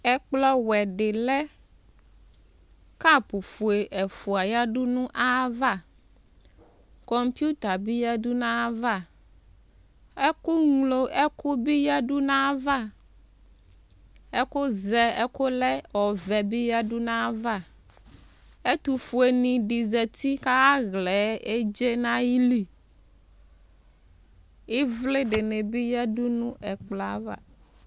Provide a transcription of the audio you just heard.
ɛkplɔwɛ dilɛ kapʋ ƒʋe ɛƒʋa yadʋ nayava NA bi yadʋ nayava ɛkʋ ŋlo ɛkʋbi yadʋ nayavava ɛkʋzɛ ɛkʋlɛ ɔvɛ bi yadʋ nayava ɛtʋƒʋeni di zati kaya ɣlaɛ edzee nayili ivlidi bi yadʋ nɛ ɛkplɔ yɛva